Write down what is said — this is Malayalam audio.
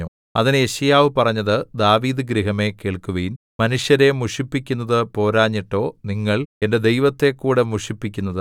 അതിന് യെശയ്യാവ് പറഞ്ഞത് ദാവീദ് ഗൃഹമേ കേൾക്കുവിൻ മനുഷ്യരെ മുഷിപ്പിക്കുന്നതു പോരാഞ്ഞിട്ടോ നിങ്ങൾ എന്റെ ദൈവത്തെക്കൂടെ മുഷിപ്പിക്കുന്നത്